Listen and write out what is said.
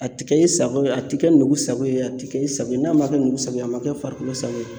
A ti kɛ i sago ye, a ti kɛ nugu sago ye, a ti kɛ i sago ye, n'a ma kɛ nugu sago ye a ma kɛ farikolo sago ye.